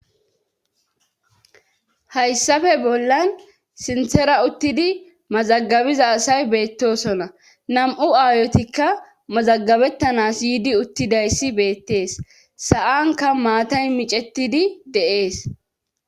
Hayssafe bollan sinthera uttidi mazagabiza asay beettosona nam7u aayotikka mazagabettanas yiidi uttidayssi beettees sa7anka maatay micetidi de7ees.